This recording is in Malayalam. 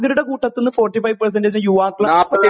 സംരംഭകരുടെ കൂട്ടത്തിൽ നിന്ന് ഫോർട്ടിഫൈവ് പെർസെന്റജ് യുവാക്കളാണ്